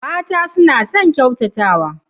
Mata suna son ƙyautatawa.